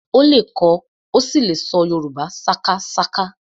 Ó lè kọ ó sì lè ṣọ Yorùbá sákásáká